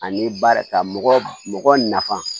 Ani baara ta mɔgɔ nafa